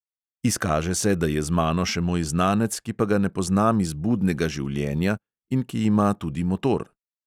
Izkaže se, da je z mano še moj znanec, ki pa ga ne poznam iz budnega življenja in ki ima tudi motor.